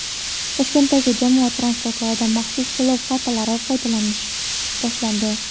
Toshkentdagi jamoat transportlarida maxsus to‘lov kartalaridan foydalanish boshlandi.